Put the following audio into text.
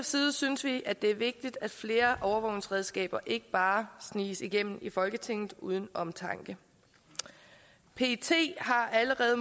side synes vi at det er vigtigt at flere overvågningsredskaber ikke bare sniges igennem folketinget uden omtanke pet har allerede